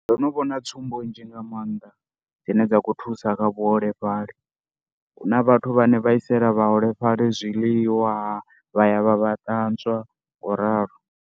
Ndo no vhona tsumbo nzhi nga maanḓa dzine dza khou thusa kha vhuholefhali, hu na vhathu vhane vha iselwa vhaholefhali zwiḽiwa, vha ya vha vha ṱanzwa ngoralo.